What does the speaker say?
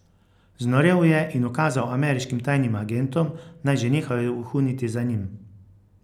Znorel je in ukazal ameriškim tajnim agentom, naj že nehajo vohuniti za njim.